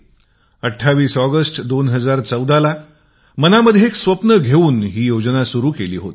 २८ August २०१४ ला मनामध्ये एक स्वप्न घेऊन ही योजना सुरु केली होती